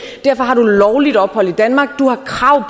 derfor har du lovligt ophold i danmark du har krav